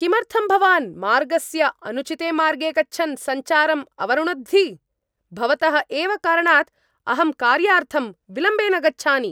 किमर्थं भवान् मार्गस्य अनुचिते मार्गे गच्छन् सञ्चारं अवरुणद्धि? भवतः एव कारणात् अहं कार्यार्थम् विलम्बेन गच्छानि।